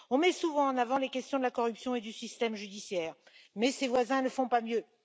On met souvent en avant les questions de la corruption et du système judiciaire, mais ses voisins ne font pas mieux.